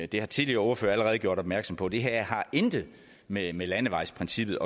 det har tidligere ordførere allerede gjort opmærksom på det her har intet med med landevejsprincippet